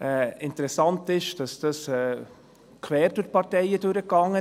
Interessant ist, dass dies quer durch die Parteien hindurchging.